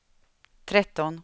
tretton